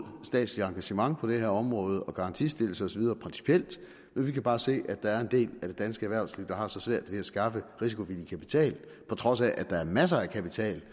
statsligt engagement på det her område og garantistillelse osv men vi kan bare se at der er en del af det danske erhvervsliv der har så svært ved at skaffe risikovillig kapital på trods af at der er masser af kapital